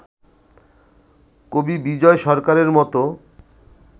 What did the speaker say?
কবি বিজয় সরকারের মতো